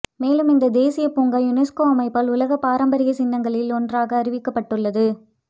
மேலும் இந்த தேசியப் பூங்கா யுனெஸ்கோ அமைப்பால் உலகப்பாரம்பரியச் சின்னங்களில் ஒன்றாக அறிவிக்கப்பட்டுள்ளது